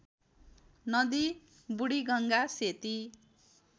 नदी बुढीगङ्गा सेती